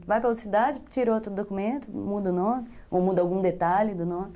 Vai para outra cidade, tira outro documento, muda o nome, ou muda algum detalhe do nome.